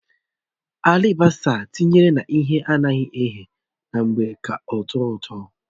Alibasa etinyere na ihe ana eghe na-eme ka ọ̀tọ́ ụtọ